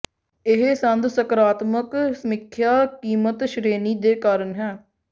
ਇਹ ਸੰਦ ਸਕਾਰਾਤਮਕ ਸਮੀਖਿਆ ਕੀਮਤ ਸ਼੍ਰੇਣੀ ਦੇ ਕਾਰਨ ਹਨ